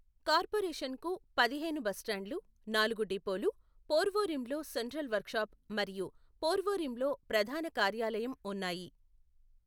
కార్పొరేషన్కు పదిహేను బస్టాండ్లు, నాలుగు డిపోలు, పోర్వోరిమ్లో సెంట్రల్ వర్క్షాప్ మరియు పోర్వోరిమ్లో ప్రధాన కార్యాలయం ఉన్నాయి.